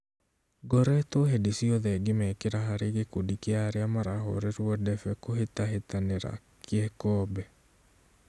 Ngoretwo hĩndĩ ciothe ngĩmekĩra harĩ gĩkundi kĩa arĩa marahũrĩrwo debe kũhĩtahĩtanĩra gĩkombe